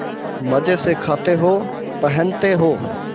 मजे से खाते हो पहनते हो